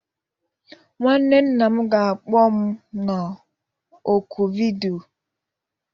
Nwanne nna m ga-akpọ m na ọ́kụ vidiyo.